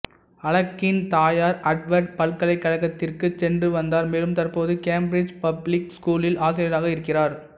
அஃலெக்கின் தாயார் ஹார்வர்ட் பல்கலைக்கழகத்திற்கு சென்று வந்தார் மேலும் தற்போது கேம்பிரிட்ஜ் பப்ளிக் ஸ்கூலில் ஆசிரியராக இருக்கிறார்